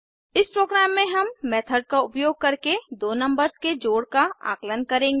इस प्रोग्राम में हम मेथड का उपयोग करके दो नंबर्स के जोड़ का आंकलन करेंगे